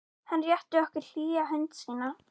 Hann rétti okkur hlýja hönd sína.